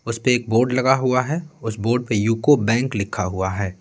उसपे एक बोर्ड लगा हुआ है उस बोर्ड पे यूको बैंक लिखा हुआ है।